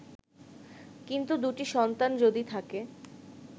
কিন্তু দুটি সন্তান যদি থাকে